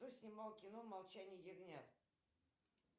кто снимал кино молчание ягнят